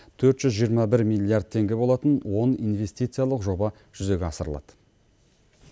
төрт жүз жиырма бір милиард теңге болатын он инвестициялық жоба жүзеге асырылады